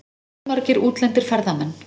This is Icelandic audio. Fjölmargir útlendir ferðamenn